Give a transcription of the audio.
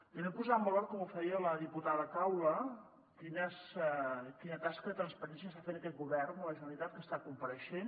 també posar en valor com ho feia la diputada caula quina tasca de transparència està fent aquest govern de la generalitat que està compareixent